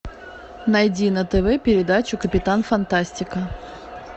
найди на тв передачу капитан фантастика